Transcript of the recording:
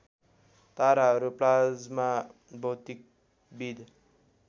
ताराहरू प्लाज्मा भौतिकविद